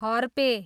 हर्पे